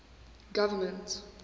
government